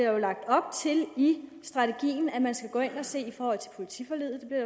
jo lagt op til i strategien at man skal gå ind og se det i forhold til politiforliget